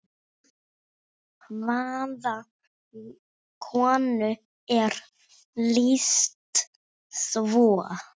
Hvaða konu er lýst svo?